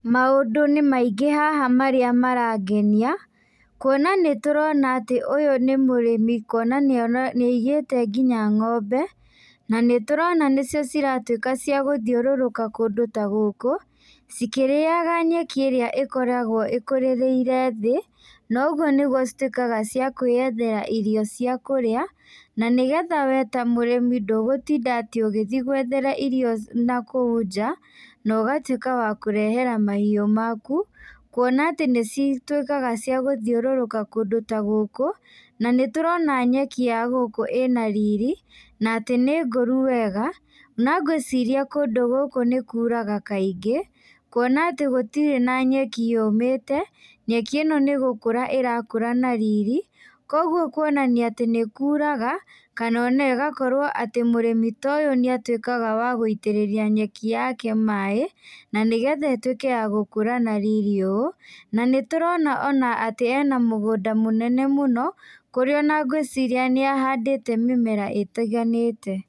Maũndũ nĩmaingĩ haha marĩa marangenia, kuona nĩtũrona atĩ ũyũ nĩ mũrĩmi kuona nĩ nĩaigĩte nginya ng'ombe, na nĩtũrona nĩcio ciratuĩka cia gũthiũrũruka kũndũ ta gũkũ, cikĩrĩaga nyeki ĩrĩa ĩkoragwo ĩkũrĩrĩire thĩ, na ũguo nĩguo cituĩkaga cia kwĩyethera irio cia kũrĩa, na nĩgetha we ta mũrĩmi ndũgũtinda atĩ ũgĩthiĩ gwethera irio nakuũ nja, na ũgatuĩka wa kũrehera mahiũ maku, kuona atĩ nĩcituĩkaga cia gũthiũrũrũka kũndũ ta gũkũ, na nĩtũrona nyeki ya gũkũ ĩna riri, na atĩ nĩ ngũru wega, na ngwĩciria kũndũ gũkũ nĩkuraga kaingĩ, kuona atĩ gũtirĩ na nyeki yũmĩte, nyeki ĩno nĩgũkũra ĩrakũra na riri, koguo kuonania atĩ nĩkuraga, kana ona ĩgakorwo atĩ mũrĩmi ta ũyũ nĩatuĩkaga wa gũitĩrĩria nyeki yake maĩ, na nĩgetha ĩtuĩke ya gũkũra na riri ũũ, na nĩtũrona ona atĩ ena mũgũnda mũnene mũno, kũrĩa ona ngwĩciria nĩahandĩte mĩmera ĩtiganĩte.